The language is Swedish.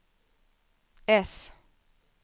S